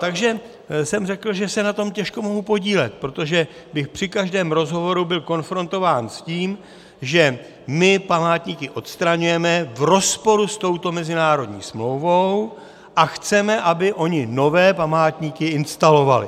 Takže jsem řekl, že se na tom těžko mohu podílet, protože bych při každém rozhovoru byl konfrontován s tím, že my památníky odstraňujeme v rozporu s touto mezinárodní smlouvou a chceme, aby oni nové památníky instalovali.